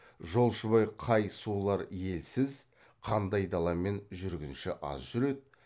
жолшыбай қай сулар елсіз қандай даламен жүргінші аз жүреді